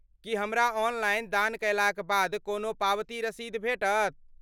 की हमरा ऑनलाइन दान कयलाक बाद कोनो पावती रसीद भेटत?